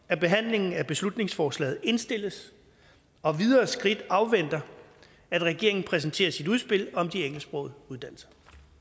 at behandlingen af beslutningsforslaget indstilles og videre skridt afventer at regeringen præsenterer sit udspil om de engelsksprogede uddannelser